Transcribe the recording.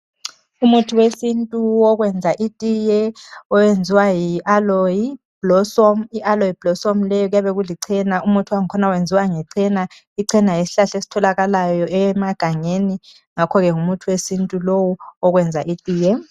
Umuthi wesintu owokwenza itiye oyenziwa yi Aloe blossom, I Aloe blossom leyo kuyabe kulicena umuthi wakhona uyenziwa ngecena. Icena yisihlahla esitholakalayo emagangeni ngakho ngumuthi wesintu lowo owokwenza itiye .